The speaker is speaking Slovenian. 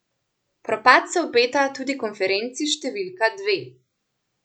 Propad se obeta tudi konferenci številka dve.